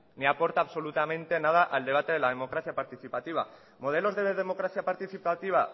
ni aporta absolutamente nada al debate de la democracia participativa modelos de democracia participativa